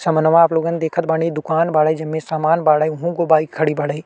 समनवा आप लोगन देखत बानी दुकान बाड़े जे में सामान बाड़े उहों एगो बाइक खड़ी बाड़े।